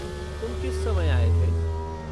तुम किस समय आए थे?